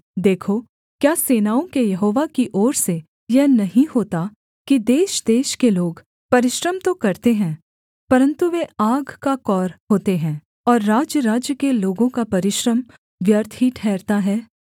देखो क्या सेनाओं के यहोवा की ओर से यह नहीं होता कि देशदेश के लोग परिश्रम तो करते हैं परन्तु वे आग का कौर होते हैं और राज्यराज्य के लोगों का परिश्रम व्यर्थ ही ठहरता है